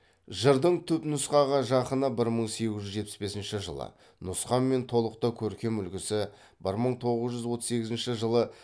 жырдың түпнұсқаға жақыны бір мың сегіз жүз жетпіс бесінші жылы нұсқа мен толық та көркем үлгісі бір мың тоғыз жүз отыз сегізінші жылы